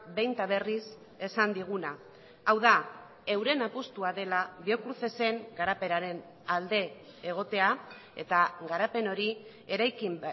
behin eta berriz esan diguna hau da euren apustua dela biocrucesen garapenaren alde egotea eta garapen hori eraikin